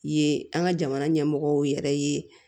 Ye an ka jamana ɲɛmɔgɔw yɛrɛ ye